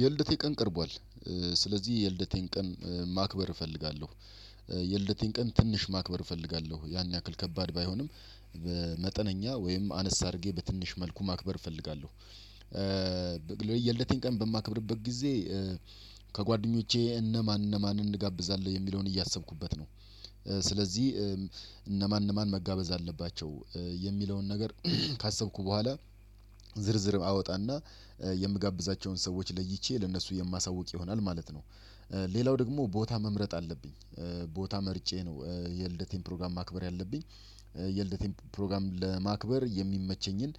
የልደቴን ቀን ቀርቧል። ስለዚህ የልደቴን ቀን ማክበር እፈልጋለሁ። የልደቴን ቀን ትንሽ ማክበር እፈልጋለሁ ያን ያክል ከባድ ባይሆንም። መጠነኛ ወይም አነስ አድርጌ በትንሽ መልኩ ማክበር እፈልጋለሁ። የልደቴን ቀን በማክብርበት ጊዜ ከጓደኞቼ እነማን እነማን እንጋብዛለን የሚለውን እያሰብኩበት ነው። ስለዚህ እነማን እነማን መጋበዝ አለባቸው የሚለውን ነገር ካሰብኩ በኋላ ዝርዝር አወጣና የምጋብዛቸውን ሰዎች ለይቼ ለነሱ የማሳውቅ ይሆናል ማለት ነው። ሌላው ደግሞ ቦታ መምረጥ አለብኝ። ቦታ መርጬ ነው የልደቴን ፕሮግራም ማክበር ያለብኝ። የልደቴን ፕሮግራም ለማክበር የሚመቸኝን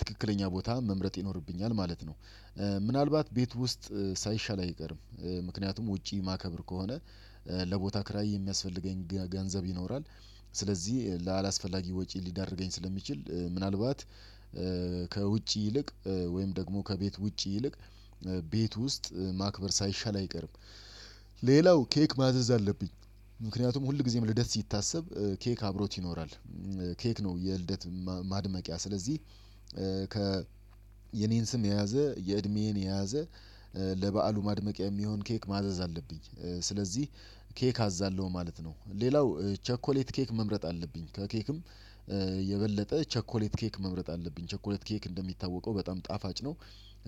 ትክክለኛ ቦታ መምረጥ ይኖርብኛል ማለት ነው። ምናልባት ቤት ውስጥ ሳይሻል አይቀርም። ምክንያቱም ውጪ ማከብር ከሆነ ለቦታ ክራይ የሚያስፈልገኝ ገንዘብ ይኖራል። ስለዚህ ለአላስፈላጊ ወጪ ሊዳርገኝ ስለሚችል ምናልባት ከውጪ ይልቅ ወይም ደግሞ ከቤት ውጪ ይልቅ ቤት ውስጥ ማክበር ሳይሻል አይቀርም። ሌላው ኬክ ማዘዝ አለብኝ። ምክንያቱም ሁል ጊዜም ልደት ሲታሰብ ኬክ አብሮት ይኖራል። ኬክ ነው የልደት ማድመቂያ ስለዚህ። ከ የኔን ስም የያዘ የእድሜዬን የያዘ ለበአሉ ማድመቂያ የሚሆን ኬክ ማዘዝ አለብኝ። ስለዚህ ኬክ አዝዛለሁ ማለት ነው። ሌላው ቸኮሌት ኬክ መምረጥ አለብኝ ከኬክም የበለጠ ቸኮሌት ኬክ መምረጥ አለብኝ ቸኮሌት ኬክ እንደሚታወቀው በጣም ጣፋጭ ነው።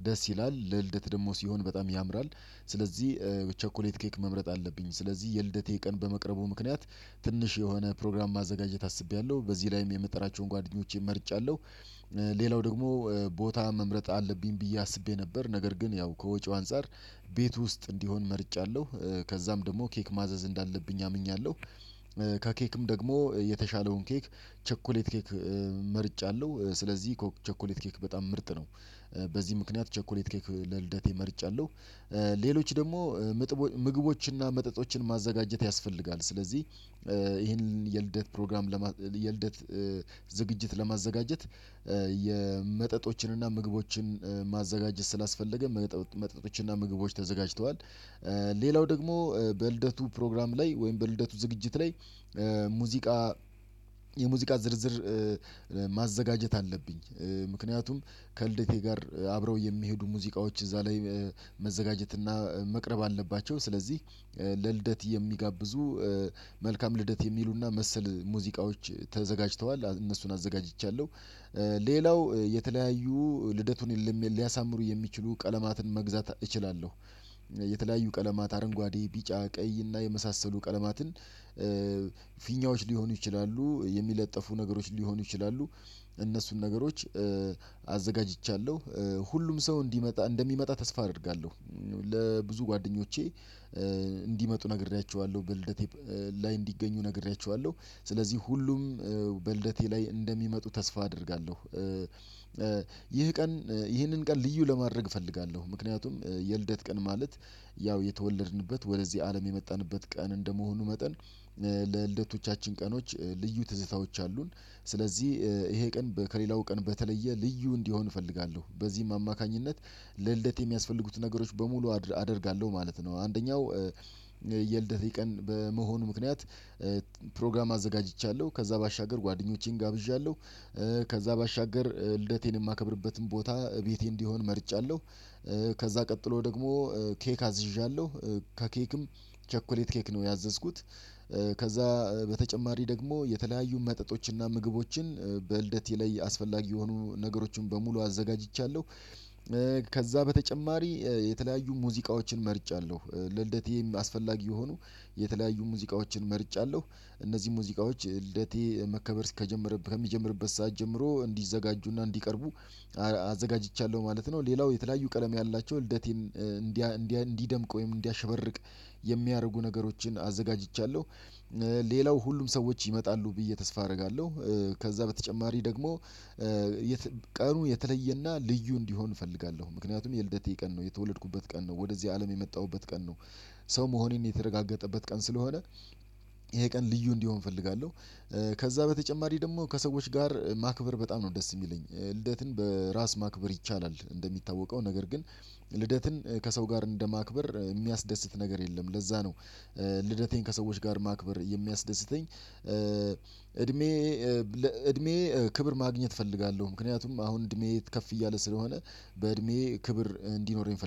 ደስ ይላል ለልደት ደግሞ ሲሆን በጣም ያምራል። ስለዚህ በቸኮሌት ኬክ መምረጥ አለብኝ ስለዚህ የልደቴ ቀን በመቅረቡ ምክንያት። ትንሽ የሆነ ፕሮግራም ማዘጋጀት አስቤያለሁ በዚህ ላይም የምጠራቸውን ጓደኞቼን መርጫለሁ። ሌላው ደግሞ ቦታ መምረጥ አለብኝ ብዬ አስቤ ነበር ነገር ግን ያው ከወጪው አንፃር ቤት ውስጥ እንዲሆን መርጫለሁ። ከዛም ደግሞ ኬክ ማዘዝ እንዳለብኝ አምኛለሁ። ከኬክም ደግሞ የተሻለውን ኬክ ቸኮሌት ኬክ መርጫለሁ ስለዚህ ቸኮሌት ኬክ በጣም ምርጥ ነው። በዚህ ምክንያት ቸኮሌት ኬክ ለልደቴ መርጫለሁ። ሌሎች ደግሞ ምግቦችንና መጠጦችን ማዘጋጀት ያስፈልጋል። ስለዚህ ይሄንን የልደት ፕሮግራም የልደት ዝግጅት ለማዘጋጀት የመጠጦችን እና ምግቦችን ማዘጋጀት ስላስፈለገ መጠጦችን እና ምግቦችን ተዘጋጅተዋል። ሌላው ደግሞ በልደቱ ፕሮግራም ላይ ወይም በልደቱ ዝግጅት ላይ ሙዚቃ የሙዚቃ ዝርዝር አለብኝ። ምክንያቱም ከልደቴ ጋር አብረው የሚሄዱ ሙዚቃዎች እዛ ላይ መዘጋጀት መቅረብ አለባቸው ስለዚህ ለልደት የሚጋብዙ መልካም ልደት የሚሉና መሰል ሙዚቃዎች ተዘጋጅተዋል እነሱን አዘጋጅቻለሁ። ሌላው የተለያዩ ልደቱን የለም ሊያሳምሩ የሚችሉ ቀለማትን መግዛት እችላለሁ። የተለያዩ ቀለማት አረንጓዴ ቢጫ ቀይ እና የመሳሰሉ ቀለማትን ፊኛዎች ሊሆኑ ይችላሉ የሚለጠፉ ነገሮች ሊሆኑ ይችላሉ። እነሱን ነገሮች አዘጋጅቻለሁ። ሁሉም ሰው እንዲመጣ እንደሚመጣ ተስፋ አደርጋለሁ። ለብዙ ጓደኞቼ እንዲመጡ ነግሬያቸዋለሁ በልደቴ ላይ እንዲገኙ ነግሬያቸዋለሁ። ስለዚህ ሁሉም በልደቴ ላይ እንደሚመጡ ተስፋ አደርጋለሁ። ይህ ቀን ይህንን ቀን ልዩ ለማድረግ እፈልጋለሁ ምክንያቱም የልደት ቀን ማለት ያው የተወለድንበት ወደዚህ አለም የመጣንበት ቀን እንደመሆኑ መጠን ለልደቶቻችን ቀኖች ልዩ ትዝታዎች አሉን ስለዚህ ይሄ ቀን ከሌላው ቀን በተለየ ልዩ እንዲሆን እፈልጋለሁ። በዚህም አማካኝነት ለልደት የሚያስፈልጉት ነገሮች በሙሉ አደርጋለሁ ማለት ነው። አንደኛው የልደት የቀን በመሆኑ ምክንያት ፕሮግራም አዘጋጅቻለሁ ከዛ ባሻገር ጓደኞቼን ጋብዣለሁ። ከዛ ባሻገር ልደቴን የማከብርበትም ቦታ ቤቴ እንዲሆን መርጫለሁ። ከዛ ቀጥሎ ደግሞ ኬክ አዝዣለሁ። ከኬክም ቸኮሌት ኬክ ነው ያዘዝኩት። ከዛ በተጨማሪ ደግሞ የተለያዩ መጠጦችንና ምግቦችን በልደቴ ላይ አስፈላጊ የሆኑ ነገሮችን በሙሉ አዘጋጅቻለሁ። ከዛ በተጨማሪ የተለያዩ ሙዚቃዎችን መርጫለሁ ለልደቴ አስፈላጊ የሆኑ የተለያዩ ሙዚቃዎችን መርጫለሁ። እነዚህን ሙዚቃዎች ልደቴ መከበር ከጀመረበት ከሚጀምርበት ሰዓት ጀምሮ እንዲዘጋጁና እንዲቀርቡ አዘጋጅቻለሁ ማለት ነው። ሌላው የተለያዩ ቀለም ያላቸው ልደቴን እንዲያ እንዲያ እንዲደምቅ ወይም እንዲያሸብርቅ የሚያደርጉ ነገሮችን አዘጋጅቻለሁ። ሌላው ሁሉም ሰዎች ይመጣሉ ብዬ ተስፋ አደርጋለሁ። ከዛ በተጨማሪ ደግሞ ቀኑ የተለየና ልዩ እንዲሆን እፈልጋለሁ ምክንያቱም የልደቴ ቀን ነው የተወለድኩበት ቀን ነው ወደዚህ አለም የመጣሁበት ቀን ነው። ሰው መሆኔን የተረጋገጠበት ቀን ስለሆነ ይሄ ቀን ልዩ እንዲሆን እፈልጋለሁ። ከዛ በተጨማሪ ደግሞ ከሰዎች ጋር ማክበር በጣም ነው ደስ የሚለኝ። ልደትን በራስ ማክበር ይቻላል እንደሚታወቀው ነገር ግን ልደትን ከሰው ጋር እንደማክበር የሚያስደስት ነገር የለም ለዛ ነው። ልደቴን ከሰዎች ጋር ማክበር የሚያስደስተኝ እድሜ እድሜ ክብር ማግኘት እፈልጋለሁ ምክንያቱም አሁን እድሜ የት ከፍ እያለ ስለሆነ በእድሜ ክብር እንዲኖረኝ እፈልጋለሁ